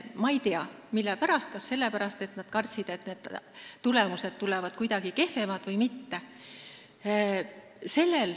Ma ei tea, mille pärast, kas sellepärast, et nad kartsid, et tulemused tulevad kuidagi kehvemad, või muul põhjusel.